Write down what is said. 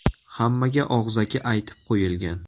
Hammaga og‘zaki aytib qo‘yilgan.